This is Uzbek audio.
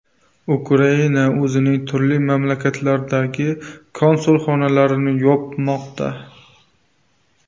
Ukraina o‘zining turli mamlakatlardagi konsulxonalarini yopmoqda.